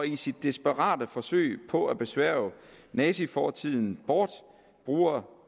i sit desperate forsøg på at besværge nazifortiden bort bruger